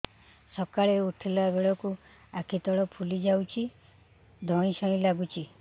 ସକାଳେ ଉଠିଲା ବେଳକୁ ଆଖି ତଳ ଫୁଲି ଯାଉଛି ଧଇଁ ସଇଁ ଲାଗୁଚି